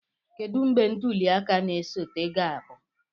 Kedu mgbe ntuli aka na-esote ga-abụ?